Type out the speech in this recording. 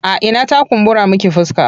A ina ta kumbura miki fuska?